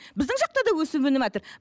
біздің жақта да өсіп өніватыр